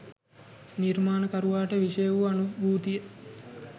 නිර්මාණකරුවාට විෂය වූ අනුභූතිය